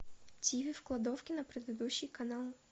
тиви в кладовке на предыдущий канал